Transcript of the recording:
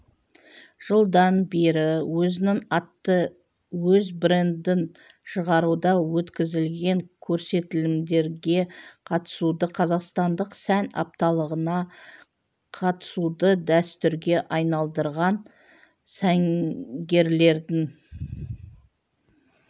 жылдан бері өзінің атты өз брендін шығаруда өткізілген көрсетілімдерге қатысуді қазақстандық сән апталығына қатысуды дәстүрге айналдырған сәнгерлердің